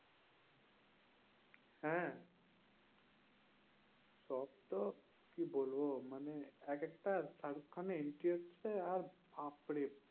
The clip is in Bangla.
হ্যাঁ দর্শক কি বলবো? মানে একেকটা শাহরুখ খানের entry হচ্ছে, আর বাপ্ রে